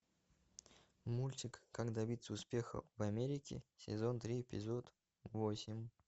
мультик как добиться успеха в америке сезон три эпизод восемь